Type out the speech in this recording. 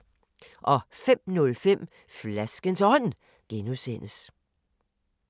05:05: Flaskens Ånd (G)